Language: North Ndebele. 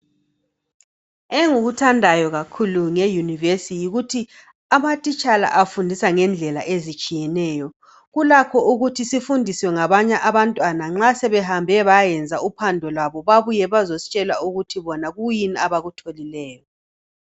engikuthandayo kakhulu nge univesi yikuthi ama thitshya lawa afundisa ngendlela ezitshiyeneyo kulakho ukuthi sifundiswe ngababanye abantwana nxasebehambe bayayenza uphando lwabo babuye bazositshel ukuthi bona yikuyini abakutholileyo